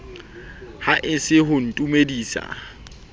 ha e se ho ntumedisa